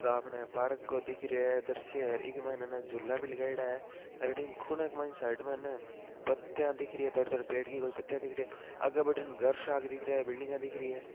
ये आपणे पार्क को दिख रहियो हैं द्रश्य हैं एक मायने है ना झूला भी लगायोडा हैं अठीने खूने के मायन साईड में ह ना पत्तिया दिख रही हैं थोड़ी थोड़ी पेड़ की कोई पत्तिया दिख रही हैं आगे बठीन घर सा दिख रहिया हैं बिल्डिंग दिख रही हैं।